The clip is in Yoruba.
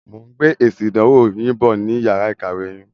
Mo ń gbé esin ìdánwò yìn bọ̀ ni yàrá ìkàwé yin.